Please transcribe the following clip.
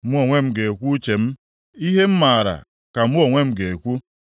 Mụ onwe m ga-ekwu uche m; ihe m maara ka mụ onwe m ga-ekwu,